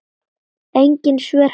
Engin svör hafa borist.